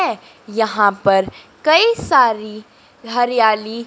यहां पर कई सारी हरियाली--